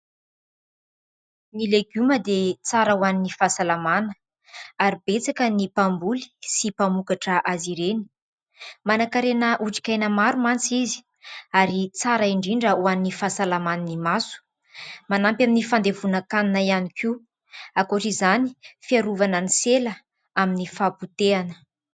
Ny legioma dia tsara ho an'ny fahasalamana ary betsaka ny mpamboly sy mpamokatra azy ireny. Manan-karena otrikaina maro mantsy izy ary tsara indrindra ho an'ny fahasalaman'ny maso, manampy amin'ny fandevonan-kanina ihany koa ; ankoatra izany, fiarovana ny sela amin'ny fahapotehana.